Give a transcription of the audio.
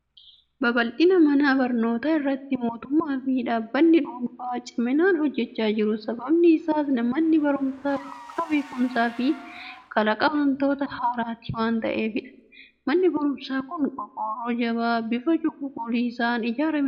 Babal'ina mana barnootaa irratti mootummaa fi dhaabbanni dhuunfaa ciminaan hojjechaa jiru. Sababni isaas manni barumsaa burqaa beekumsaa fi kalaqa waantota haaraati waan ta'eefidha. Manni barumsaa kun qorqorroo jabaa bifa cuquliisaan ijaaramee jira.